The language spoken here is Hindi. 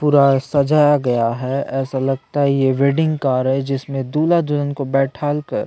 पूरा सजाया गया है ऐसा लगता है यह वेडिंग कार है जिसमें दूल्हा - दुल्हन को बैठालकर --